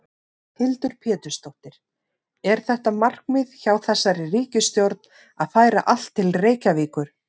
Hildur Pétursdóttir: Er þetta markmið hjá þessari ríkisstjórn að færa allt til Reykjavíkur?